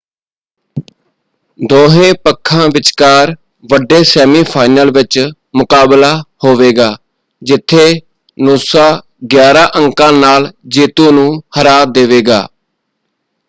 ਦੋਹੇਂ ਪੱਖਾਂ ਵਿਚਕਾਰ ਵੱਡੇ ਸੈਮੀਫਾਈਨਲ ਵਿੱਚ ਮੁਕਾਬਲਾ ਹੋਵੇਗਾ ਜਿੱਥੇ ਨੂਸਾ 11 ਅੰਕਾਂ ਨਾਲ ਜੇਤੂ ਨੂੰ ਹਰਾ ਦੇਵੇਗਾ।